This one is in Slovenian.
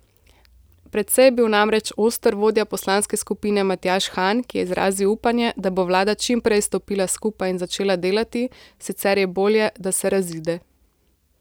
Precej je bil namreč oster vodja poslanske skupine Matjaž Han, ki je izrazil upanje, da bo vlada čim prej stopila skupaj in začela delati, sicer je bolje, da se razide.